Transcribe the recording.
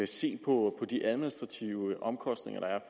se på de administrative omkostninger der er